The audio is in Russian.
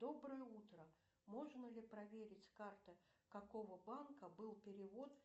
доброе утро можно ли проверить карта какого банка был перевод